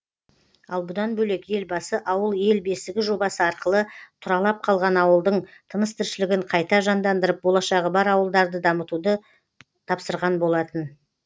ал бұдан бөлек елбасы ауыл ел бесігі жобасы арқылы тұралап қалған ауылдың тыныс тіршілігін қайта жандандырып болашағы бар ауылдарды дамытуды тапсырған болатын